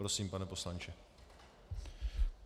Prosím, pane poslanče.